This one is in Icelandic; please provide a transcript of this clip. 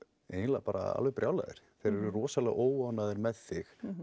eiginlega bara alveg brjálaðir þeir eru rosalega óánægðir með þig